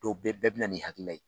Dɔw bɛ bɛɛ minɛ nin hakilila ye